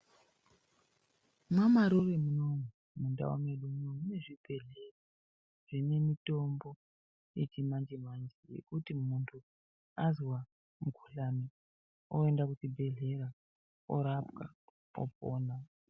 MwaMarure munomu, mundau mwedu munoumu, munezvibhedhlera zvinemitombo yechimanje-manje, yekuti muntu azwa mukhuhlane oenda kuchibhedhlera orapwa opona.